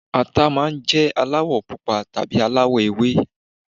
Ata máa ń jẹ́ aláwọ̀ pupa tàbí aláwọ̀ ewé